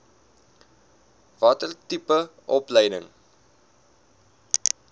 watter tipe opleiding